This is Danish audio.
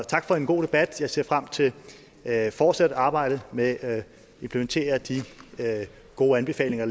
tak for en god debat jeg ser frem til at fortsætte arbejdet med at implementere de gode anbefalinger